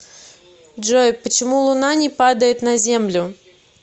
джой почему луна не падает на землю